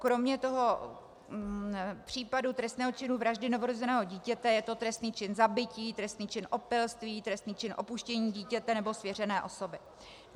Kromě toho případu trestného činu vraždy novorozeného dítěte je to trestný čin zabití, trestný čin opilství, trestný čin opuštění dítěte nebo svěřené osoby.